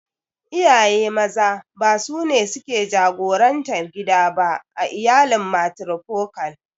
Iyaye Maza ba sune suke jagorantar gida ba a iyalin matrifokal.